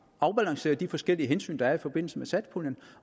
afbalancerer de forskellige hensyn der er i forbindelse med satspuljen